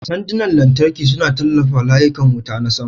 Sandunan lantarki suna tallafawa layukan wuta na sama.